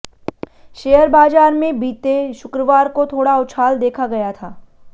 share बाजार में बीते शुक्रवार को थोड़ा उछाल देखा गया था